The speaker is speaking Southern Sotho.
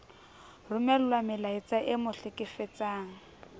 romellwa melaetsa e mo hlekefetsang